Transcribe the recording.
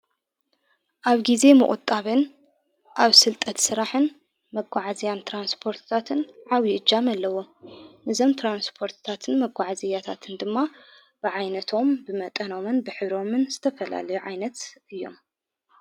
ኣብ ጊዜ መቝጣበን ኣብ ሥልጠት ሥራሕን መጐዓ እዝያን ተራንስጶርትታትን ዓዊ እጃምኣለዎ ንዘም ተራንስፖርትታትን መጐዕዘያታትን ድማ ብዓይነቶም ብመጠኖመን ብኅብሮምን ዝተፈላለዮ ዓይነት እዮም።